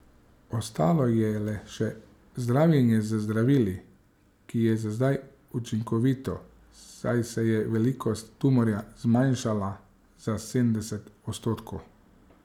Ostalo je le še zdravljenje z zdravili, ki je za zdaj učinkovito, saj se je velikost tumorja zmanjšala za sedemdeset odstotkov.